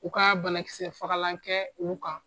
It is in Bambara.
U kaa banakisɛ fagalan kɛɛ u kan